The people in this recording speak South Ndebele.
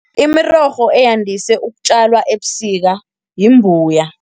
Imirorho eyandise ukutjalwa ebusika yimbuya.